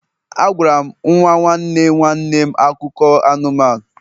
Agwara m nwa nwanne nwanne m akụkọ anụmanụ